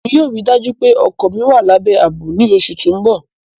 ẹ̀mi yóò ríì dájú pẹ̀ ọkọ mí wà làbẹ́ àbọ̀ ní oṣù tó nbọ.